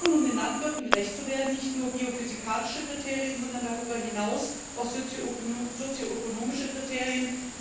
Um den Landwirten gerecht zu werden, brauchen wir nicht nur biophysikalische Kriterien, sondern darüber hinaus auch sozioökonomische Kriterien.